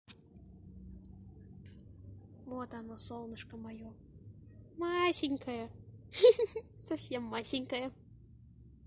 вот оно солнышко моё масенькое ха-ха совсем масенькое